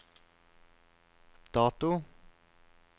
dato